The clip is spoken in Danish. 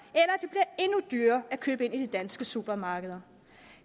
eller at dyrere at købe ind i de danske supermarkeder